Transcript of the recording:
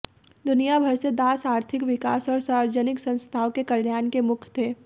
दुनिया भर से दास आर्थिक विकास और सार्वजनिक संस्थाओं के कल्याण के मुख्य थे